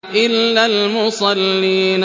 إِلَّا الْمُصَلِّينَ